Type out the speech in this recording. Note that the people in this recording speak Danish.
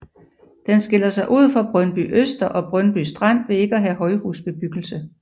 Den skiller sig ud fra Brøndbyøster og Brøndby Strand ved ikke at have højhusbebyggelse